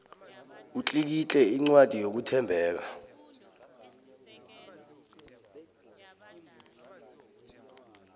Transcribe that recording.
utlikitle incwadi yokuthembeka